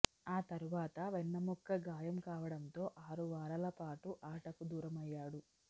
ఆ తర్వాత వెన్నెముక గాయం కావడంతో ఆరు వారాలపాటు ఆటకు దూరమయ్యాడు